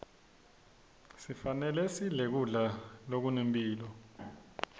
sifanelesidle kudla zokunemphilo